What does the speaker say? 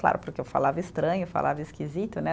Claro, porque eu falava estranho, falava esquisito, né?